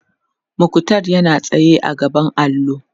muktar yana tsaye a gaban allo